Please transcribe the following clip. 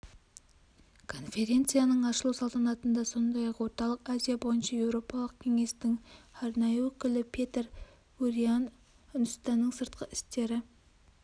конференцияның ашылу салтанатында сондай-ақ орталық азия бойынша еуропалық кеңестің арнайы өкілі петер буриан үндістанның сыртқы істері